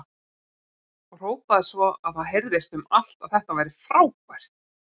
Og hrópaði svo að heyrðist um allt að þetta væri frábært!